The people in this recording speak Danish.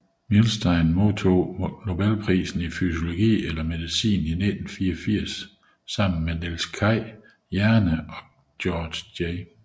Milstein modtog nobelprisen i fysiologi eller medicin i 1984 sammen med Niels Kaj Jerne og Georges J